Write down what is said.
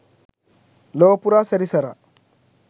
ලොවපුරා සැරිසරා